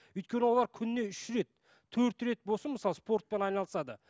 өйткен олар күніне үш рет төрт рет болсын мысалы спортпен айналысады